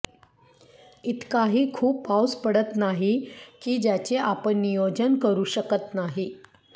इतकाही खूप पाऊस पडत नाही की ज्याचे आपण नियोजन करू शकत नाही